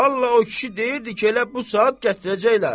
Vallah o kişi deyirdi ki, elə bu saat gətirəcəklər.